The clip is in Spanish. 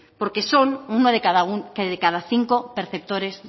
porque son uno de cada cinco perceptores